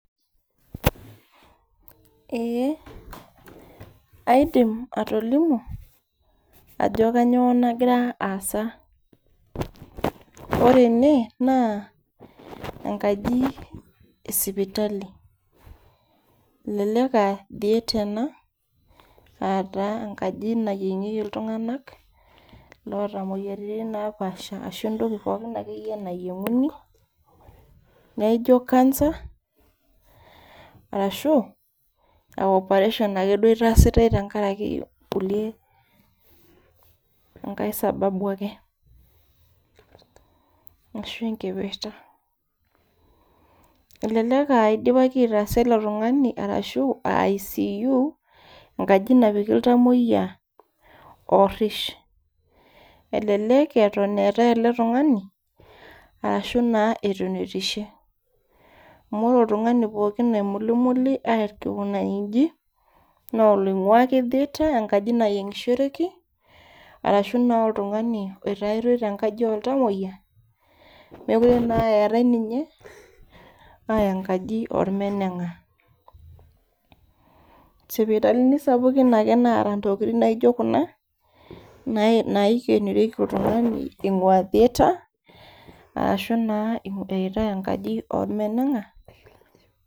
Eeh aidim atolimu ajo kanyio nagira aasa ore ene naa enkaji esipitali elelek aa theatre ena ataa enkaji nayieng'ieki iltung'anak loota imoyiaritin napaasha ashu entoki akeyie pookin nayieng'uni naijio cancer arashu aa operation akeduo itaasitae tenkaraki kulie enkae sababu ake ashu enkipirta elelek aa idipaki aitaasa ilo tung'ani arashu ICU enkaji napiki iltamoyia orrish elelek eton eetae ele tung'ani arashu naa etunutishe amu ore oltung'ani pookin oimulimuli aikunaki inji naa oloing'ua ake theatre enkaji nayieng'ishoreki arashu naa oltung'ani oitaitoi tenkaji oltamoyia mekure naa eetae ninye aaya enkaji ormeneng'a isipitalini sapukin ake naata intokitin naijio kuna nae naikenorieki oltung'ani ing'ua theatre arshu naa eyaitae enkaji ormeneng'a.